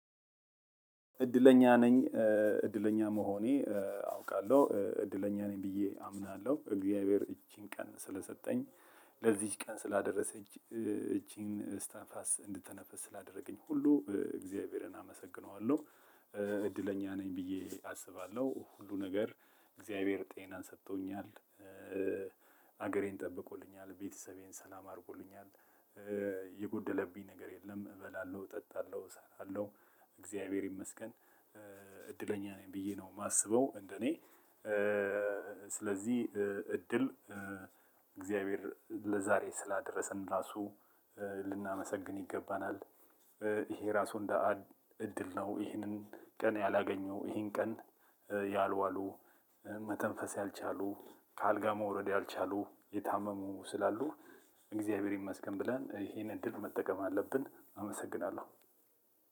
እድለኛ ነኝ እድለኛ መሆኔ አውቃለሁ እድለኛ ነኝ ብዬ አምናለሁ እግዚአብሔር ይችን ቀን ስለሰጠኝ ለዚች ቀን ስላደረሰኝ ይችን እስትንፋስ እንድትተነፍስ ስላደረገኝ ሁሉ እግዚአብሔርን አመሰግነዋለሁ። እድለኛ ነኝ ብዬ አስባለሁ ሁሉ ነገር እግዚአብሔር ጤናን ሰጥቶኛል። ሀገሬን ጠብቆልኛል ቤተሰቤን ሰላም አድርጎልኛል። የጎደለብኝ ነገር የለም። እበላለሁ እጠጣለሁ እሰራለሁ እግዚአብሔር ይመስገን። እድለኛ ነኝ ብዬ ነው የማስበው እንደኔ። ስለዚህ እድል እግዚአብሔር ለዛሬ ስላደረሰን ራሱ ልናመሰግን ይገባናል። ይሄ ራሱ እንደ እድል ነው። ይሄንን ቀን ያላገኙ ይሄን ቀን ያልዋሉ መተንፈስ ያልቻሉ ከአልጋ መውረድ ያልቻሉ የታመሙ ስላሉ። እግዚአብሔር ይመስገን ብለን ይሄንን እድል መጠቀም አለብን አመሰግናለሁ።